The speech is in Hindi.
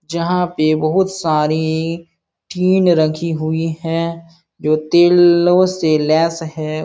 जहाँ पे बहुत सारी टीन रखी हुई है जो तेलों से लेस है।